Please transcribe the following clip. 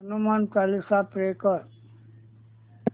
Hanuman Chalisa play कर